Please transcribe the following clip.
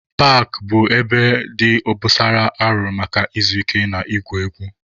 Paakị bụ ebe dị obosara arụrụ maka izu ike na igwu egwu.